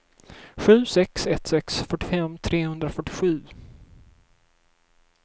sju sex ett sex fyrtiofem trehundrafyrtiosju